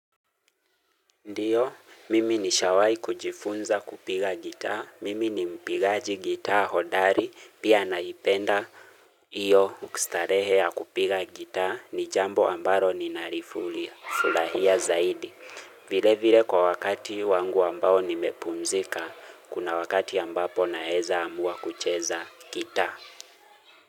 Ndio, mimi nishawai kujifunza kupiga gita, mimi ni mpigaji gita hodari, pia naipenda hiyo starehe ya kupiga gita, ni jambo amblo ni nalifuli, furahia zaidi. Vile vile kwa wakati wangu ambao nimepumzika, kuna wakati ambapo naeza amua kucheza gita.